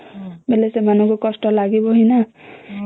ହେଲେ ସସେମନକୁ କଷ୍ଟ ଲାଗିବ ନା